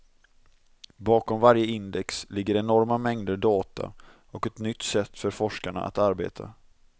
Bakom varje index ligger enorma mängder data och ett nytt sätt för forskarna att arbeta.